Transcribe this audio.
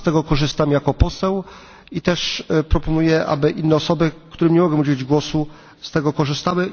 Sam z tego korzystam jako poseł i też proponuję, aby inne osoby, którym nie mogłem udzielić głosu, z tego korzystały.